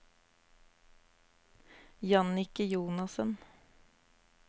Jannicke Jonassen